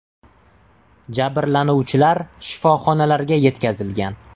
Jabrlanuvchilar shifoxonalarga yetkazilgan.